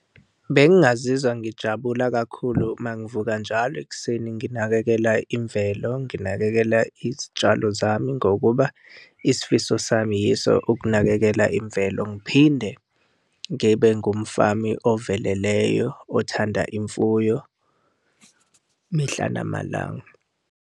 Bengingazizwa ngijabula kakhulu uma ngivuka njalo ekuseni nginakekela imvelo, nginakekela izitshalo zami, ngokuba isifiso sami yiso ukunakekela imvelo, ngiphinde ngibe ngumfami oveleleyo othanda imfuyo mihla namalanga.